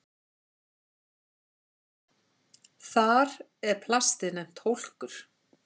Þar er plastið nefnt hólkur.